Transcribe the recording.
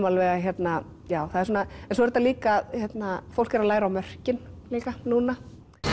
alveg að svo er þetta líka fólk er að læra á mörkin líka núna